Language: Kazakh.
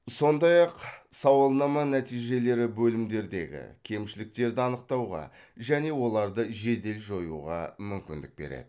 сондай ақ сауалнама нәтижелері бөлімдердегі кемшіліктерді анықтауға және оларды жедел жоюға мүмкіндік береді